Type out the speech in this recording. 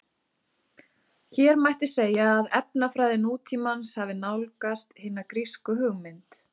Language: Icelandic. Hér mætti segja að efnafræði nútímans hafi nálgast hina grísku hugmynd.